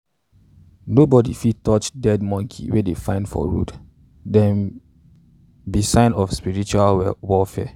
nobody um fit touch dead monkey wey dey um find for road - them be signs for spiritual warfare.